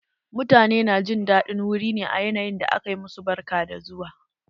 Mutane na jin daɗin wuri ne a yanayin da aka ma su barka da zuwa.